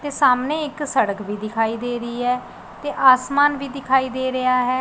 ਤੇ ਸਾਹਮਣੇ ਇੱਕ ਸੜਕ ਵੀ ਦਿਖਾਈ ਦੇ ਰਹੀ ਹੈ ਤੇ ਆਸਮਾਨ ਵੀ ਦਿਖਾਈ ਦੇ ਰਿਹਾ ਹੈ।